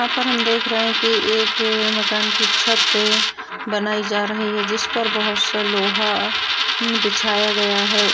यहां पर हम देख रहे है कि एक मकान की छत बनाई जा रही है जिस पर बहुत सा लोहा बिछाया गया है।